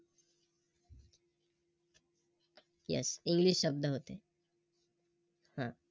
ह Yes english शब्द होते.